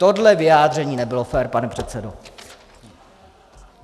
Tohle vyjádření nebylo fér, pane předsedo.